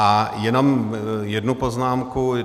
A jenom jednu poznámku.